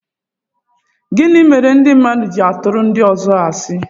Gịnị mere ndị mmadụ ji-atụru ndi ọzọ asi?